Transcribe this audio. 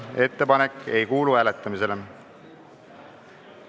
Ettepanek ei kuulu hääletamisele.